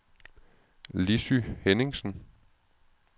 Lissy Henningsen